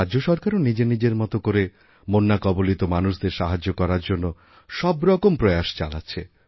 রাজ্যসরকারও নিজের নিজের মত করে বন্যাকবলিত মানুষদের সাহায্য করার জন্য সবরকম প্রয়াসচালাচ্ছে